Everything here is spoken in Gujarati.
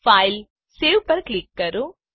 ફાઇલસેવ પર ક્લિક કરો